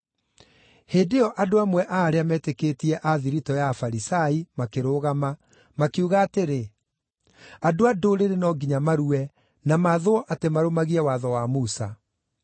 Hĩndĩ ĩyo andũ amwe a arĩa meetĩkĩtie a thiritũ ya Afarisai makĩrũgama, makiuga atĩrĩ, “Andũ a Ndũrĩrĩ no nginya marue na maathwo atĩ marũmagie watho wa Musa.”